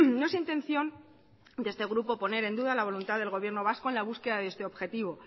no es intención de este grupo poner en duda la voluntad del gobierno vasco en la búsqueda de este objetivo